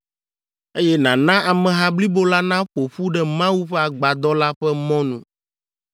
eye nàna ameha blibo la naƒo ƒu ɖe Mawu ƒe Agbadɔ la ƒe mɔnu.”